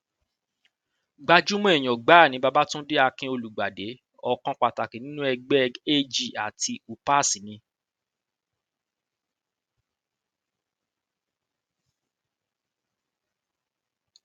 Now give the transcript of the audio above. gbajúmọ èèyàn gbáà ni babatúndé akinolùgbàdé ọkàn pàtàkì nínú ẹgbẹ ag àti upas ni